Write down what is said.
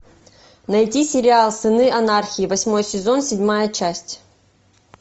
найди сериал сыны анархии восьмой сезон седьмая часть